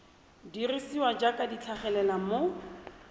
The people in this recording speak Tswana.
dirisiwa jaaka di tlhagelela mo